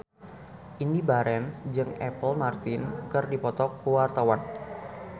Indy Barens jeung Apple Martin keur dipoto ku wartawan